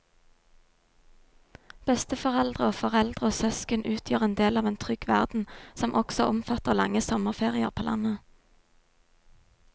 Besteforeldre og foreldre og søsken utgjør en del av en trygg verden som også omfatter lange sommerferier på landet.